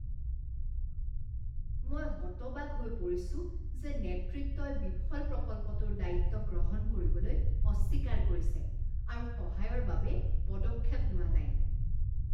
মই হতবাক হৈ পৰিছো যে নেতৃত্বই বিফল প্ৰকল্পটোৰ দায়িত্ব গ্ৰহণ কৰিবলৈ অস্বীকাৰ কৰিছে আৰু সহায়ৰ বাবে পদক্ষেপ লোৱা নাই।